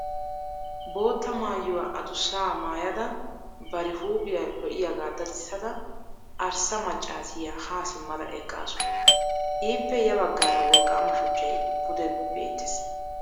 Bootta maayuwa adussaa maayada bari huuphiya lo"iyagaa dadissada arssa maccaasiya ha simmada eqqaasu. Ippe ya baggaara wolqqaama shuchchay pude beettees.